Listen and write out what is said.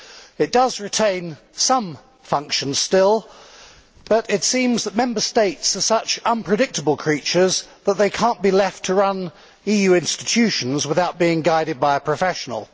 It does still retain some function, but it seems that Member States are such unpredictable creatures that they cannot be left to run EU institutions without being guided by a professional.